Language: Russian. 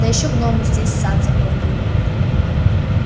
да ещё гномы здесь сад заполонили